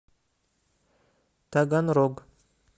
таганрог